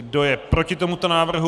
Kdo je proti tomuto návrhu?